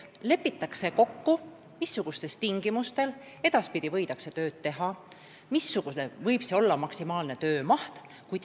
Lepitakse kokku, missugustel tingimustel edaspidi võidakse tööd teha ja missugune võib olla maksimaalne töömaht.